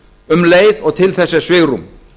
um leið og til þess er svigrúm